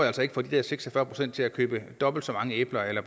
altså ikke får de der seks og fyrre procent til at købe dobbelt så mange æbler eller